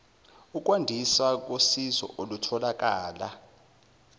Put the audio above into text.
ukwandiswa kosizo olutholakala